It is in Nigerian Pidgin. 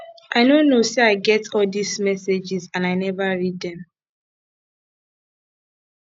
i no know say i get all dis messages and i never read dem